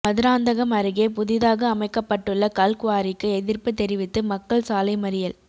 மதுராந்தகம் அருகே புதிதாக அமைக்கப்பட்டுள்ள கல்குவாரிக்கு எதிர்ப்பு தெரிவித்து மக்கள் சாலை மறியல்